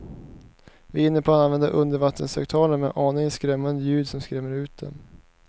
Vi är inne på att använda undervattenshögtalare med aningen skrämmande ljud som skrämmer ut dem.